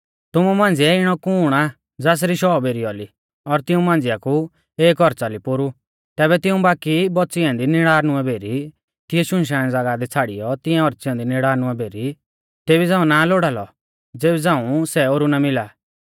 तुमु मांझ़िऐ इणौ कुण आ ज़ासरी शौ भेरी औली और तिऊं मांझ़िया कु एक औच़ा ली पोरु तैबै तिऊं बाकी बौच़ी ऐन्दी नड़ीनवे भेरी तिऐ शुनशान ज़ागाह दी छ़ाड़ियौ तिंऐ औच़ी ऐन्दी नड़ीनवे भेरी तेबी झ़ांऊ ना लोड़ा लौ ज़ेबी झ़ांऊ सै ओरु ना मिला